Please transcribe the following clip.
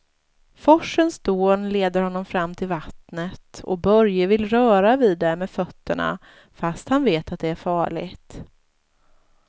Forsens dån leder honom fram till vattnet och Börje vill röra vid det med fötterna, fast han vet att det är farligt.